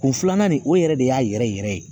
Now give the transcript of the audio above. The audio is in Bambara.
Kun filanan nin o yɛrɛ de y'a yɛrɛ yɛrɛ yɛrɛ ye